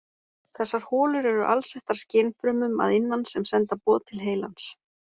Þessar holur eru alsettar skynfrumum að innan sem senda boð til heilans.